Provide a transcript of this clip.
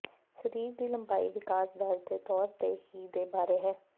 ਸਰੀਰ ਦੀ ਲੰਬਾਈ ਵਿਕਾਸ ਦਰ ਦੇ ਤੌਰ ਤੇ ਹੀ ਦੇ ਬਾਰੇ ਹੈ